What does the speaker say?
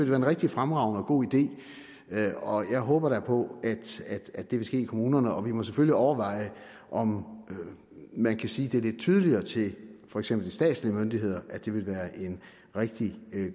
være en rigtig fremragende og god idé og jeg håber da på at det vil ske i kommunerne vi må selvfølgelig overveje om man kan sige det lidt tydeligere til for eksempel statslige myndigheder at det ville være en rigtig